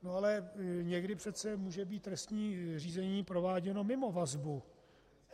No ale někdy přece může být trestní řízení prováděno mimo vazbu.